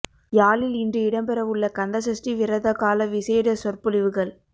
யாழில் இன்று இடம்பெறவுள்ள கந்த சஷ்டி விரத கால விசேட சொற்பொழிவுகள்